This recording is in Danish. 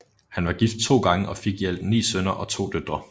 Han var gift to gange og fik i alt 9 sønner og 2 døtre